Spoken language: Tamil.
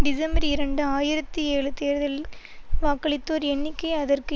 டிசம்பர் இரண்டு ஆயிரத்தி ஏழு தேர்தலில் வாக்களித்தோர் எண்ணிக்கை அதற்கு